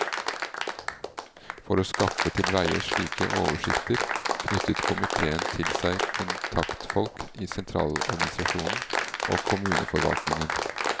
For å skaffe til veie slike oversikter knyttet komiteen til seg kontaktfolk i sentraladministrasjonen og kommuneforvaltningen.